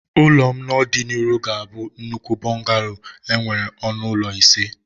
Ụlọ m n'ọdịnihu ga-abụ nnukwu bungalow nwere ọnụ ụlọ ise